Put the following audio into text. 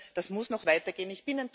Das muss noch weitergehen.